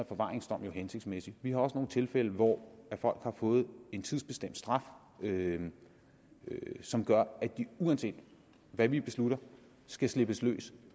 forvaringsdom jo hensigtsmæssig vi har også nogle tilfælde hvor folk har fået en tidsbestemt straf som gør at de uanset hvad vi beslutter skal slippes løs